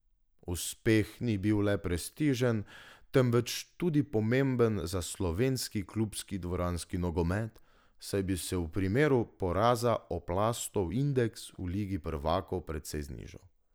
Uspeh ni bil le prestižen, temveč tudi pomemben za slovenski klubski dvoranski nogomet, saj bi se v primeru poraza Oplastov indeks v ligi prvakov precej znižal.